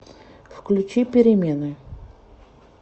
включи перемены